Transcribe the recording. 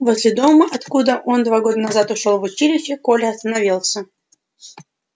возле дома откуда он два года назад ушёл в училище коля остановился